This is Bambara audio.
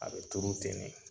A bi turu ten de